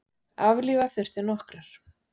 Aflífa þurfti nokkrar.